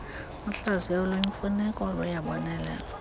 uhlaziyo oluyimfuneko luyabonelelwa